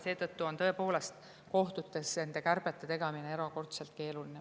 Seetõttu on kohtutes kärbete tegemine erakordselt keeruline.